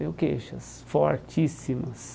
Tenho queixas fortíssimas.